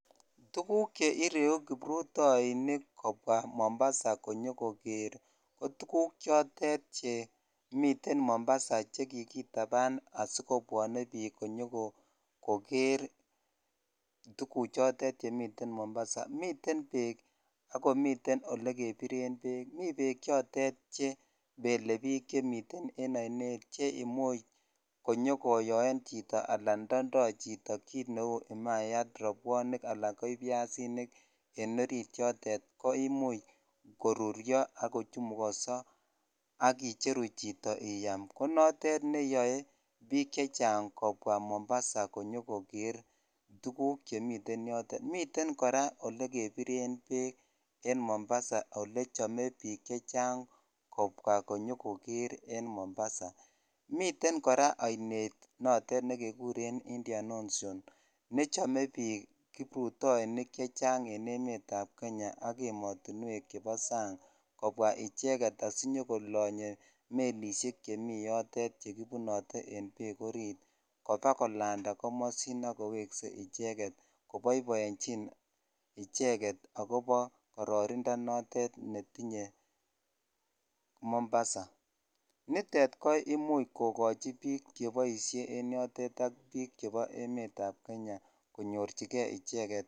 Tukuk cheireu kiprutoinik kobwaa Mombasa konyokoker ko tukuk chotet chemiten Mombasa chekikitaban asikobwone biik konyokoker tukuchotet chemiten mombasa miten beek ak komiten olekebiren beek, mii beek chotet chebele biik chemiten en oinet cheimuch konyokoyoen chito alaan ndondo chito kiit neuu imayat, robwonik, alaan ko ibiasinik en oriit yotet koimuch korurio ak kochumukoso ak icheru chito iyam, ko notet neyoe biik chechang kobwa Mombasa konyokoker tukuk chemiten yotet, miten kora nekebiren beek Mombasa olechome biik chechang kobwa konyokoker en Mombasa, miten kora oinet notet nekekuren Indian ocean nechome biik kiprutoinik chechang en emetab kenya ak emotinwek chebo sang kobwa icheket asikonyo kolonye melishek chemii yotet chekibunote en beek oriit kobakolanda komosin ak kowekse icheket koboiboenchin icheket akobo kororonindo notet netinye Mombasa, nitet ko imuch kokochi biik cheboishe en yotet ak biik chebo emetab kenya konyorchike icheket.